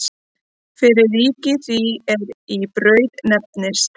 Fyrir ríki því er í Braut nefndist.